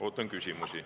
Ootan küsimusi.